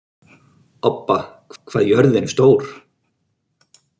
Obba, hvað er jörðin stór?